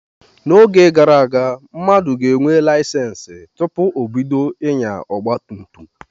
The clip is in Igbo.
N'oge gara aga, mmadụ ga-enwe layisensi tụpụ ọ bido inya ọgba tum tum.